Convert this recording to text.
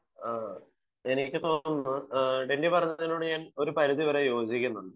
ആഹ് എനിക്ക് തോന്നുന്നു ഡെന്നി പറഞ്ഞതിനോട് ഒരു പരിധി വരെ ഞാൻ യോജിക്കുന്നു